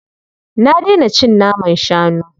Na daina cin naman shanu.